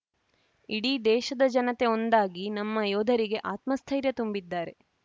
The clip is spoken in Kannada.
ಇಡೀ ದೇಶದ ಜನತೆ ಒಂದಾಗಿ ನಮ್ಮ ಯೋಧರಿಗೆ ಆತ್ಮಸ್ಥೈರ್ಯ ತುಂಬಿದ್ದಾರೆ